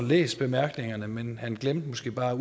læst bemærkningerne men han glemte måske bare at